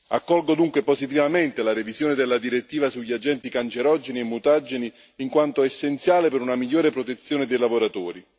Accolgo dunque positivamente la revisione della direttiva sugli agenti cancerogeni e mutageni, in quanto è essenziale per una migliore protezione dei lavoratori.